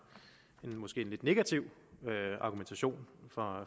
en lidt negativ argumentation for